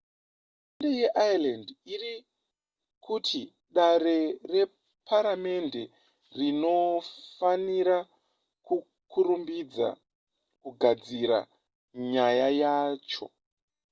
hurumende yeireland iri kuti dare reparamende rinofanira kukurumidza kugadzirisa nyaya yacho